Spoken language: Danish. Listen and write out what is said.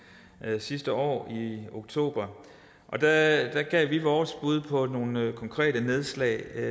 sidste år i oktober og der gav vi vores bud på nogle konkrete nedslag